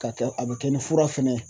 Ka kɛ a bɛ kɛ ni fura fɛnɛ ye.